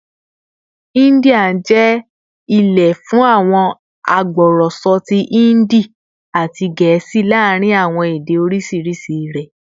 India jẹ ile fun awọn agbọrọsọ ti Hindi ati Gẹẹsi laarin awọn ede oriṣiriṣi rẹ